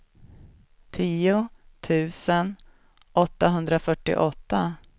tio tusen åttahundrafyrtioåtta